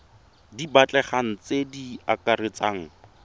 di batlegang tse di akaretsang